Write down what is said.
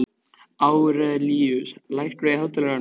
Árelíus, lækkaðu í hátalaranum.